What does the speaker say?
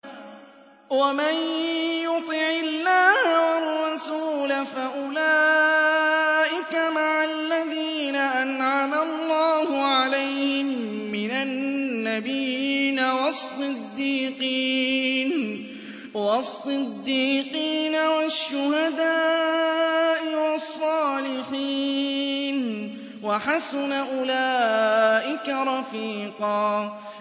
وَمَن يُطِعِ اللَّهَ وَالرَّسُولَ فَأُولَٰئِكَ مَعَ الَّذِينَ أَنْعَمَ اللَّهُ عَلَيْهِم مِّنَ النَّبِيِّينَ وَالصِّدِّيقِينَ وَالشُّهَدَاءِ وَالصَّالِحِينَ ۚ وَحَسُنَ أُولَٰئِكَ رَفِيقًا